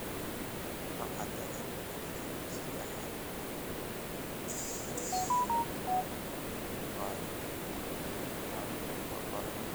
Ma cadda in dadka jidh ahaan ku kulma ay halis ugu jiraan in uu qaado caabuqa corona.